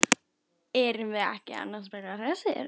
Erum við ekki annars bara hressir?